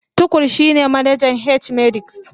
Tukur shine manajan H-medics